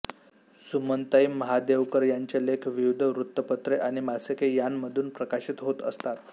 सुमनताई महादेवकर यांचे लेख विविध वृत्तपत्रे आणि मासिके यांमधून प्रकाशित होत असतात